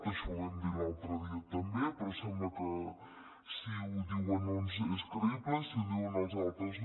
això ho vam dir l’altre dia també però sembla que si ho diuen uns és creïble i si ho diuen els altres no